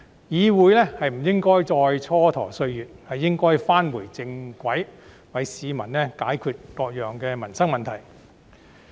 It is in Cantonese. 議會不應再磋跎歲月，而應該返回正軌，為市民解決各種民生問題。